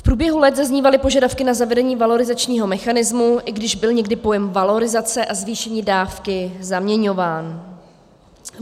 V průběhu let zaznívaly požadavky na zavedení valorizačního mechanismu, i když byl někdy pojem valorizace a zvýšení dávky zaměňován.